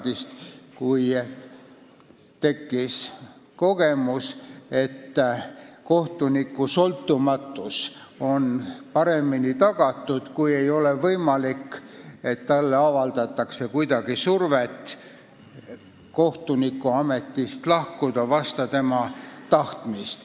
Tollaste kogemuste põhjal tekkis arusaam, et kohtuniku sõltumatus on paremini tagatud, kui talle ei ole võimalik avaldada survet lahkuda kohtunikuametist vastu tema tahtmist.